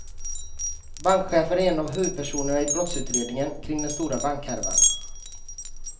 Bankchefen är en av huvudpersonerna i brottsutredningen kring den stora bankhärvan.